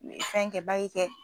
N ɲe fɛn kɛ kɛ